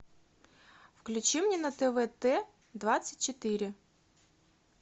включи мне на твт двадцать четыре